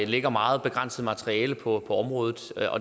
ligger meget begrænset materiale på området